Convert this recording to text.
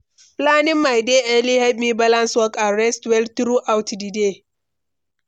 Planning my day early help me balance work and rest well throughout di day.